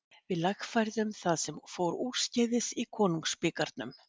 Við lagfærðum það sem fór úrskeiðis í konungsbikarnum.